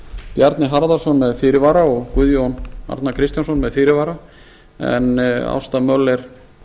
bjarni harðarson með fyrirvara og guðjón arnar kristjánsson með fyrirvara en ásta möller